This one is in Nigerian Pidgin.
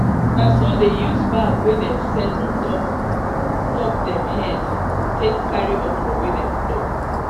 na so dey use bag wey dem set on top top dem head take carry okra wey dem pluck